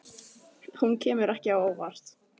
Hún kemur ekki á óvart